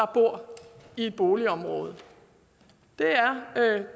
bor i et boligområde det er